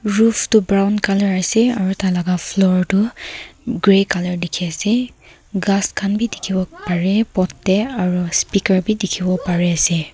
roof tu brown colour ase aru tai laga floor toh grey colour dikhi ase ghass khan bi dikhi wo pare pot te aru speaker bi dikhi wo pare ase.